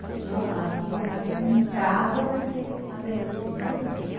No aqui, aqui em casa vai ser aprendido italiano, né?